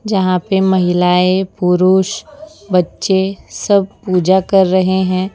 जहां पे महिलाएं पुरुष बच्चे सब पूजा कर रहे हैं।